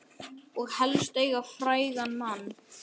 Og helst eiga frægan mann.